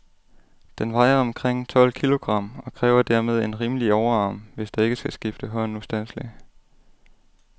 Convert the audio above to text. Den vejer omkring tolv kilogram, og kræver dermed en rimelig overarm, hvis der ikke skal skifte hånd ustandseligt.